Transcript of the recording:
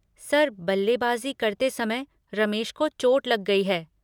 Sir बल्लेबाज़ी करते समय रमेश को चोट लग गई है।